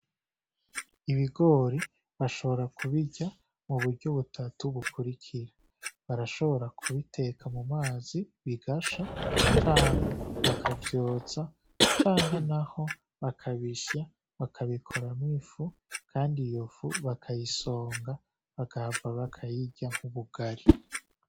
Ibigori bashobora kubirya muburyo butatu bukurikira barashobora kubiteka mumazi bigasha canke bakavyotsa canke naho bakabisya bakabikoramwo ifu kandi iyo fu bakayisonga bagahava bakayirya nk'ubugari.